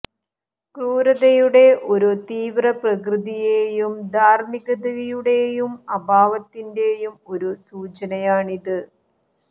ക്രൂരതയുടെ ഒരു തീവ്ര പ്രകൃതിയെയും ധാർമികതയുടെ അഭാവത്തിന്റേയും ഒരു സൂചനയാണിത്